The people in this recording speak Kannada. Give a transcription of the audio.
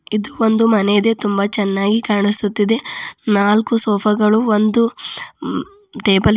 ಇದು ಒಂದು ಮನೆ ಇದೆ ತುಂಬಾ ಚೆನ್ನಾಗಿ ಕಾಣಿಸುತ್ತಿದೆ ನಾಲ್ಕು ಸೋಫಾ ಗಳು ಒಂದು ಟೇಬಲ್ ಇದೆ.